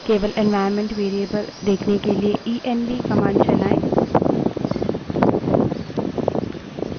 केवल environment variables देखने के लिए इएनवी env command चलायें